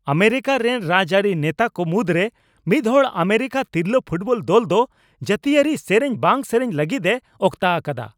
America ᱨᱮᱱ ᱨᱟᱡᱽᱟᱹᱨᱤ ᱱᱮᱛᱟ ᱠᱚ ᱢᱩᱫᱽᱨᱮ ᱢᱤᱫᱦᱚᱲ ᱟᱢᱮᱨᱤᱠᱟ ᱛᱤᱨᱞᱟᱹ ᱯᱷᱩᱴᱵᱚᱞ ᱫᱚᱞ ᱫᱚ ᱡᱟᱹᱛᱤᱭᱟᱹᱨᱤ ᱥᱮᱨᱮᱧ ᱵᱟᱝ ᱥᱮᱨᱮᱧ ᱞᱟᱹᱜᱤᱫᱼᱮ ᱚᱠᱛᱟ ᱟᱠᱟᱫᱟ ᱾